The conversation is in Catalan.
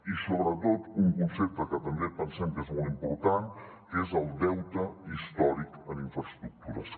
i sobretot un concepte que també pensem que és molt important que és el deute històric en infraestructures